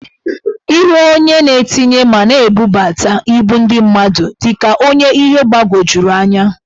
Ihu onye na-etinye ma na-ebuputa ibu ndị mmadụ dị ka ọnye ihe gbawojuru anya.